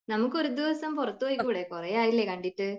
നമുക്കു ഒരു ദിവസം പുറത്തുപൊക്കൂടെ? കുറെ ആയില്ലേ കണ്ടിട്ട്